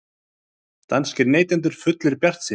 Danskir neytendur fullir bjartsýni